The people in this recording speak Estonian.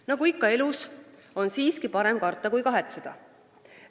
Nagu ikka elus, on siiski parem karta kui kahetseda.